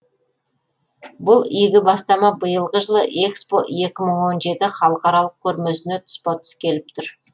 бұл игі бастама биылғы жылы экспо екі мың он жеті халықаралық көрмесіне тұспа тұс келіп отыр